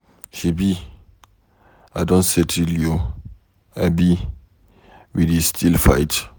Shebi I don settle you abi we dey still fight?